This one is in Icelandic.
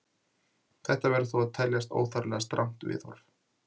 Þetta verður þó að teljast óþarflega strangt viðhorf.